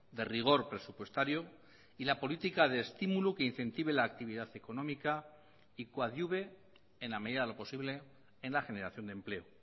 de rigor presupuestario y la política de estímulo que incentive la actividad económica y coadyuve en la medida de lo posible en la generación de empleo